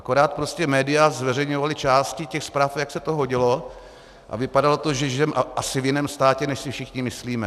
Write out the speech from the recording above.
Akorát prostě média zveřejňovala části těch zpráv, jak se to hodilo, a vypadalo to, že žijeme asi v jiném státě, než si všichni myslíme.